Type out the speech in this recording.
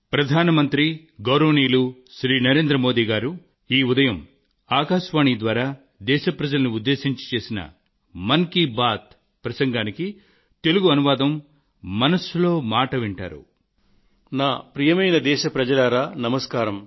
ప్రియమైన నా దేశ ప్రజలారా నమస్కారం